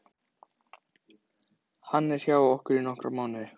Hann er hjá okkur í nokkra mánuði.